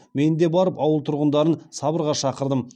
мен де барып ауыл тұрғындарын сабырға шақырдым